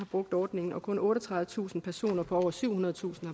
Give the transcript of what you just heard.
brugt ordningen og kun otteogtredivetusind personer på over syvhundredetusind